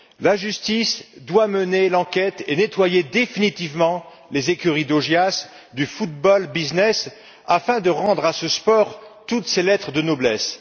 La justice doit mener l'enquête et nettoyer définitivement les écuries d'Augias du football business afin de rendre à ce sport toutes ses lettres de noblesse.